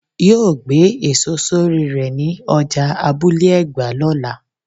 yóó gbé èso sorí rè ní ọjà Abule egba lọ́la.